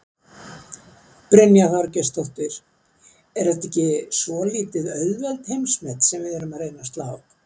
Brynja Þorgeirsdóttir: Er þetta ekki svolítið auðveld heimsmet sem við erum að reyna að slá?